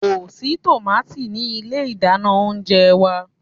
Ko si tomati ni ile idana ounjẹ wa